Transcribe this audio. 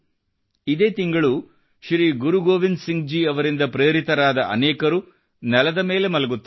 ಇದೇ ತಿಂಗಳು ಶ್ರೀ ಗುರು ಗೋವಿಂದ್ ಸಿಂಗ್ ಜಿ ಅವರಿಂದ ಪ್ರೇರಿತರಾದ ಅನೇಕರು ನೆಲದ ಮೇಲೆ ಮಲಗುತ್ತಾರೆ